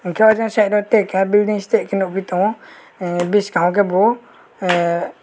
jaa jaa jette akkan neste ke nugui tongo ahh bwskango ke bo ahh.